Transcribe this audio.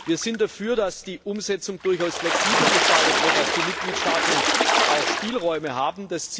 Wir sind dafür, dass die Umsetzung durchaus flexibel gestaltet wird, dass die Mitgliedstaaten auch Spielräume haben.